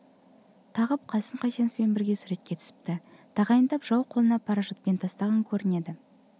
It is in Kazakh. тағып қасым қайсеновпен бірге суретке түсіпті тағайындап жау қолына парашютпен тастаған көрінеді